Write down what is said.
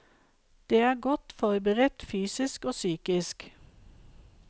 De er godt forberedt fysisk og psykisk.